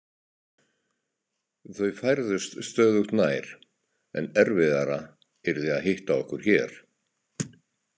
Þau færðust stöðugt nær, en erfiðara yrði að hitta okkur hér.